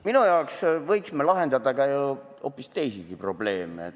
Minu arvates võiksime lahendada ka hoopis teisi probleeme.